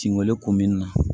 Tin weele ko min na